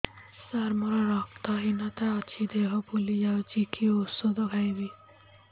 ସାର ମୋର ରକ୍ତ ହିନତା ଅଛି ଦେହ ଫୁଲି ଯାଉଛି କି ଓଷଦ ଖାଇବି